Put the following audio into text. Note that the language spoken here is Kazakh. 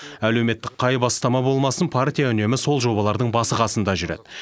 әлеуметтік қай бастама болмасын партия үнемі сол жобалардың басы қасында жүреді